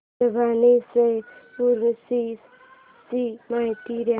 परभणी च्या उरूस ची माहिती दे